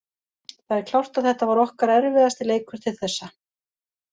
Það er klárt að þetta var okkar erfiðasti leikur til þessa